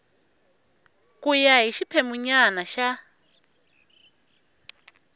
ku ya hi xiphemunyana xa